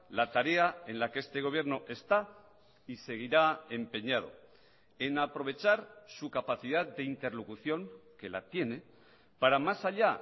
la tarea en la que este gobierno está y seguirá empeñado en aprovechar su capacidad de interlocución que la tiene para más haya